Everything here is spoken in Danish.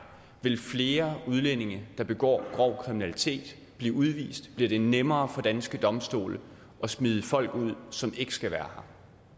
vil flere udlændinge der begår grov kriminalitet blive udvist bliver det nemmere for danske domstole at smide folk ud som ikke skal være